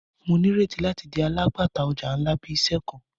Mo nireti lati di alagbata ọja nla bi iṣẹ kan.